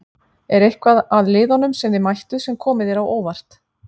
Er eitthvað að liðunum sem þið mættuð sem komu þér á óvart?